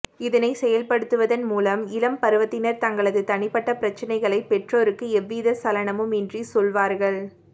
இதனைச் செயல்படுத்துவதன் மூலம் இளம் பருவத்தினர் தங்களது தனிப்பட்ட பிரச்னைகளைப் பெற்றோருக்கு எந்தவித சலனமும் இன்றி சொல்வார்கள்